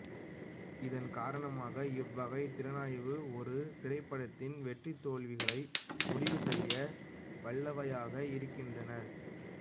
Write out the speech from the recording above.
இதன் காரணமாக இவ்வகைத் திறனாய்வுகள் ஒரு திரைப்படத்தின் வெற்றி தோல்விகளை முடிவு செய்ய வல்லவையாக இருக்கின்றன